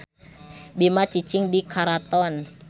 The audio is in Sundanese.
Bima cicing di karaton.